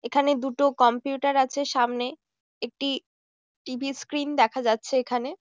এখানে দুটো কম্পিউটার আছে সামনে একটি টিভি স্ক্রিন দেখা যাচ্ছে এখানে।